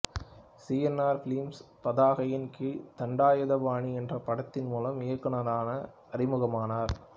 C N R films பதாகையின் கீழ் தண்டாயுதபாணி என்ற படத்தின் மூலம் இயக்குனராக அறிமுகமானார்